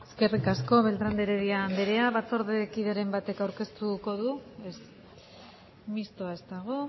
eskerrik asko beltrán de heredia andrea batzordearen kideren batek aurkeztu du ez mistoa ez dago